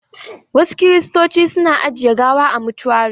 Wasu Kiristoci su na ajiye gawa a motuari.